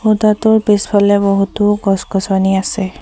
খুঁটাটোৰ পিছফালে বহুতো গছ-গছনি আছে।